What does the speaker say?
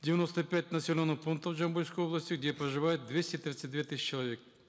девяносто пять населенных пунктов жамбылской области где проживает двести тридцать две тысячи человек